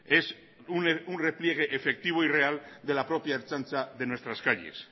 es un repliegue efectivo y real de la propia ertzaintza de nuestras calles